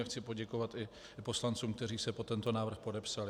A chci poděkovat i poslancům, kteří se pod tento návrh podepsali.